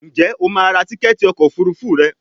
njé o ma rà Tíkẹ́ẹ̀tì ọkọ̀ òfurufú rẹ?